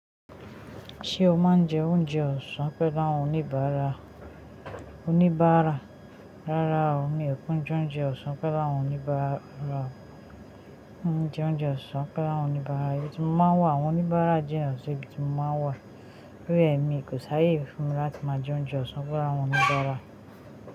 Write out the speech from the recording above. Ṣé o máa ń jẹ oúnjẹ ọ̀sán pẹ́lú àwọn oníbàárà? Oníbàárà, rárá o, mi ò kin jẹ oúnjẹ ọ̀sán pẹ́lú àwọn oníbàárà, mi o n je oúnjẹ ọ̀sán pẹ́lú àwọn oníbàárà, ibi tí mo máa ń wà, àwọn oníbàárà jina sì ibi tí mo máa ń wà. Tori e èmi kò sáyé fún mi láti máa jẹ oúnjẹ ọ̀sán pẹ́lú àwọn oníbàárà.